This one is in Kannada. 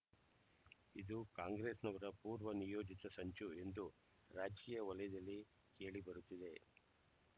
ಇದು ಕಾಂಗ್ರೆಸ್‍ನವರ ಪೂರ್ವ ನಿಯೋಜಿತ ಸಂಚು ಎಂದು ರಾಜಕೀಯ ವಲಯದಲ್ಲಿ ಕೇಳಿಬರುತ್ತಿದೆ